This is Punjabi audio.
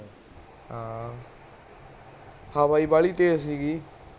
ਹਾਂ ਹਵਾ ਈ ਬਾਲੀ ਤੇਜ ਸੀਗੀ